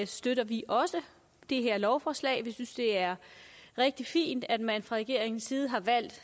støtter vi også det her lovforslag vi synes det er rigtig fint at man fra regeringens side har valgt at